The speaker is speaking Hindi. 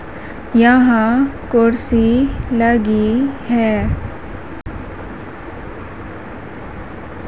यहां कुर्सी लगी है।